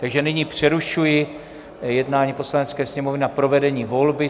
Takže nyní přerušuji jednání Poslanecké sněmovny na provedení volby.